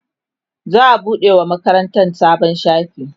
za'a buɗe wa makarantan sabon shafi